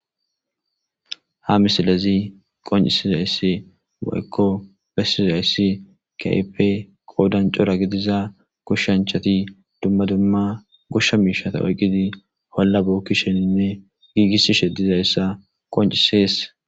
ha misilezi qoncisizayss woykko bessizayssi kehipe qoodan cora gidiza goshshanchati dumma dumma goshsha miishata oyqqidi olla bokkisheninne giigissishe dizayssa qoncisees